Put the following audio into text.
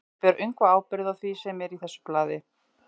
Ég ber öngva ábyrgð á því, sem er í þessu blaði.